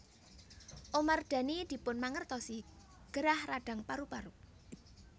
Omar Dhani dipunmangertosi gerah radang paru paru